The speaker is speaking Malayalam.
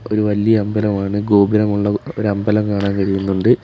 ഒരു വലിയ അമ്പലമാണ് ഗോപുരമുള്ള ഒരമ്പലം കാണാൻ കഴിയുന്നുണ്ട്.